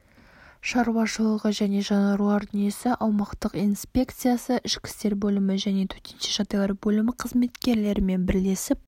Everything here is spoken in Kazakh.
шаруашылығы және жануарлар дүниесі аумақтық инпекциясы ішкі істер бөлімі және төтенше жағдайлар бөлімі қызметкерлерімен бірлесіп